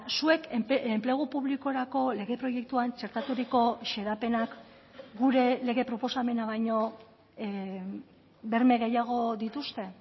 zuek enplegu publikorako lege proiektuan txertaturiko xedapenak gure lege proposamena baino berme gehiago dituzte